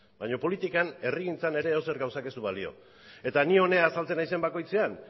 baina politikan herrigintzan ere edozer gauzak ez du balio eta ni hona azaltzen naizen bakoitzean